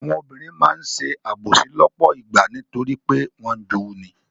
Àwọn obìnrin máa ń ṣe àbòsí lọ́pọ̀ ìgbà nítorí pé wọ́n ń jowú ni.